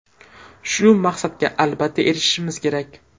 Shu maqsadga albatta erishimiz kerak.